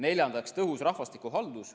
Neljandaks, tõhus rahvastikuhaldus.